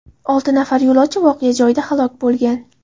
Olti nafar yo‘lovchi voqea joyida halok bo‘lgan.